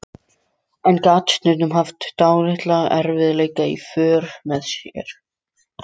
En gat stundum haft dálitla erfiðleika í för með sér.